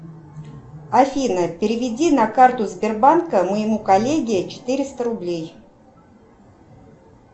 афина переведи на карту сбербанка моему коллеге четыреста рублей